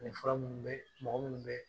Nin fura minnu bɛ mɔgɔ minnu bɛ